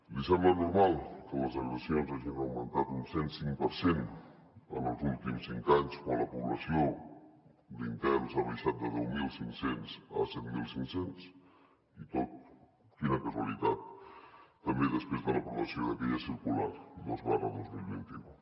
li sembla normal que les agressions hagin augmentat un cent cinc per cent en els últims cinc anys quan la població d’interns ha baixat de deu mil cinc cents a set mil cinc cents i tot quina casualitat també després de l’aprovació d’aquella circular dos dos mil vint u